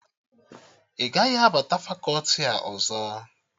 Ị gaghị abata fakọti a ọzọ!